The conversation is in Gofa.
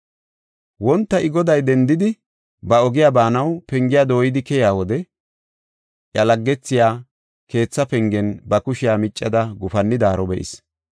Wonta I goday dendidi, ba ogiya baanaw pengiya dooyidi keyiya wode iya laggethiya keethaa pengen ba kushiya miccada gufannidaaro be7is.